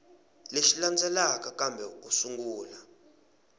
lexi landzelaka kambe u sungula